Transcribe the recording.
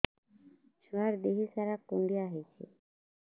ଛୁଆର୍ ଦିହ ସାରା କୁଣ୍ଡିଆ ହେଇଚି